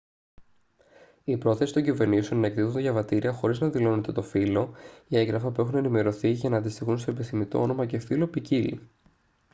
η πρόθεση των κυβερνήσεων να εκδίδουν διαβατήρια χωρίς να δηλώνεται το φύλο χ ή έγγραφα που έχουν ενημερωθεί για να αντιστοιχούν στο επιθυμητό όνομα και φύλο ποικίλλει